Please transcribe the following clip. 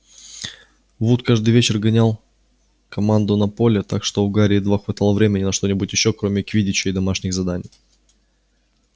вуд каждый вечер гонял команду на поле так что у гарри едва хватало времени на что-нибудь ещё кроме квиддича и домашних заданий